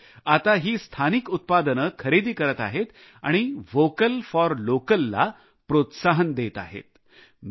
हे लोक आता ही स्थानिक उत्पादने खरेदी करत आहेत आणि व्होकल फॉर लोकल ला प्रोत्साहन देत आहेत